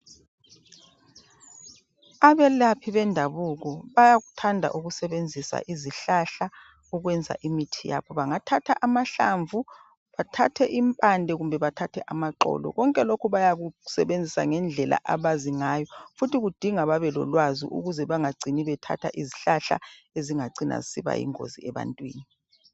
Abelaphi bendabuko bayakuthanda ukusebenzisa izihlahla ukwenza imithi yabo . Bangathatha amahlamvu .bathathe impande ,kumbe bathathe amaxolo .Konke lokhu bayakusebenzisa ngendlela abazi ngayo .Futhi kudinga babe lolwazi ukuze bangacini bethatha izihlahla ezingacina zisiba yingozi ebantwini.